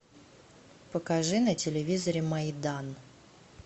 покажи на телевизоре майдан